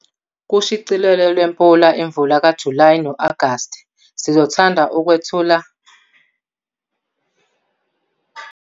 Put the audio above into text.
Kushicilelo lwePula Imvula kaJulayi no-Agasti sizothanda ukukwethula kubalimi abangama-34 abaqokelwe u-2017 imikhakha ye-Subsistence, i-Smallholder, i-Potential New Era kanye ne -New Era Farme.